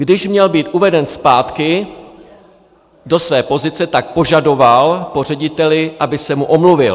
Když měl být uveden zpátky do své pozice, tak požadoval po řediteli, aby se mu omluvil.